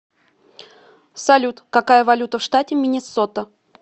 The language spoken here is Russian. салют какая валюта в штате миннесота